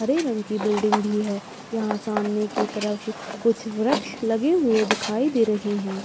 हरे रंग की बिल्डिंग भी है यहाँ सामने की तरफ कुछ वृक्ष लगे हुए दिखाई दे रहे हैं।